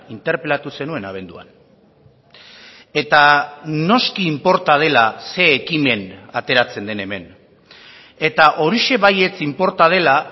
interpelatu zenuen abenduan eta noski inporta dela zein ekimen ateratzen den hemen eta horixe baietz inporta dela